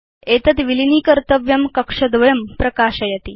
एतद् विलीनीकर्तव्यं कक्षद्वयं प्रकाशयति